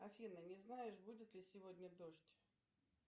афина не знаешь будет ли сегодня дождь